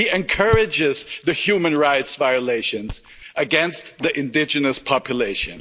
He encourages the human rights violations against the indigenous population.